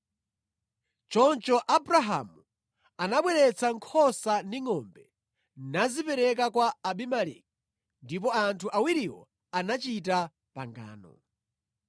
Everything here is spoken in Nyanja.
Choncho Abrahamu anabweretsa nkhosa ndi ngʼombe nazipereka kwa Abimeleki, ndipo anthu awiriwo anachita pangano.